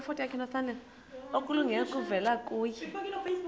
okulungileyo kuvela kuye